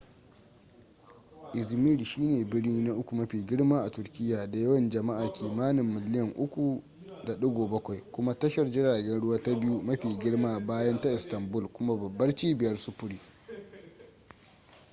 izmir shi ne birni na uku mafi girma a turkiyya da yawan jama'a kimanin miliyan 3.7 kuma tashar jiragen ruwa ta biyu mafi girma bayan ta istanbul kuma babbar cibiyar sufuri